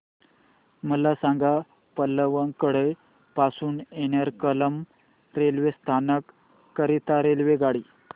मला सांग पलक्कड पासून एर्नाकुलम रेल्वे स्थानक करीता रेल्वेगाडी